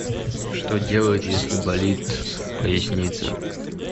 что делать если болит поясница